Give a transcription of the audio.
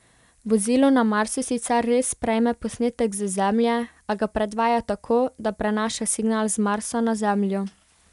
Vozilo na Marsu sicer res prejme posnetek z Zemlje, a ga predvaja tako, da prenaša signal z Marsa na Zemljo.